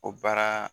O baara